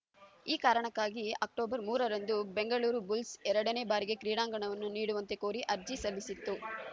ಈ ಕಾರಣಕ್ಕಾಗಿ ಅಕ್ಟೋಬರ್ ಮೂರರಂದು ಬೆಂಗಳೂರು ಬುಲ್ಸ್‌ ಎರಡನೇ ಬಾರಿಗೆ ಕ್ರೀಡಾಂಗಣವನ್ನು ನೀಡುವಂತೆ ಕೋರಿ ಅರ್ಜಿ ಸಲ್ಲಿಸಿತ್ತು